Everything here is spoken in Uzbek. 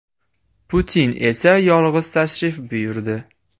Putin esa yolg‘iz tashrif buyurdi.